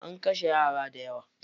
An kashe yara dayawa.